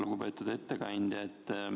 Lugupeetud ettekandja!